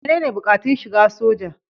Menene buƙatun shiga soja?